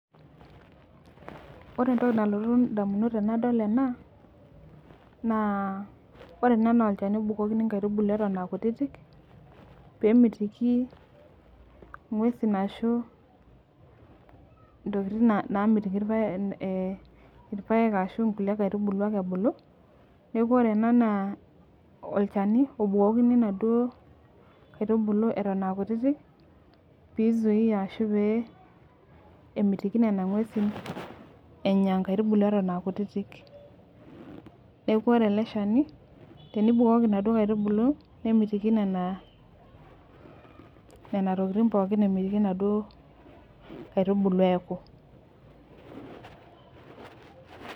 Ore entoki nalotu damunot tenadol ena, naa ore ena naa olchani obukokini nkaitubulu eton aa kutitik, pee kemitiki inguesin ashu, intokitin namitiki irpaek ashu, inkaitubulu ake ebulu. neekj ore ena naa olchani obukokini inaduoo, kaitubulu Eton aa kutitik pee isuai ashu pee, kemitiki Nena nguesin Enya nkaitubulu eton aa kutitik. neeku ore ele Shani tenibokiki Nena aitubulu nemitiki Nena, tokitin pookin kemitiki inaduoo kaitubulu eeku.